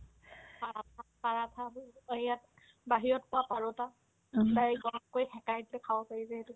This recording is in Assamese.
পাৰাঠা পাৰাঠা দেই এই ইয়াত বাহিৰত কোৱা পাৰোত্তা direct গৰম কৰি সেকাই সেকাই খাব পাৰি যে সেইটো